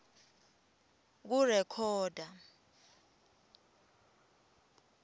kurekhoda